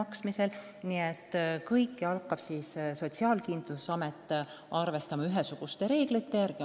Kõiki neid hüvitisi hakkab Sotsiaalkindlustusamet arvestama ja välja maksma ühesuguste reeglite järgi.